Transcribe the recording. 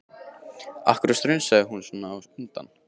Af hverju strunsaði hún svona á undan?